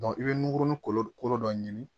i bɛ nunkuruni kolo kolo dɔ ɲini